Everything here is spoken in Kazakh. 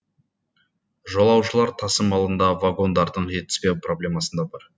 жолаушылар тасымалында вагондардың жетіспеу проблемасы да бар